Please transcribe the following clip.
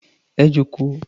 Ẹ jókòó.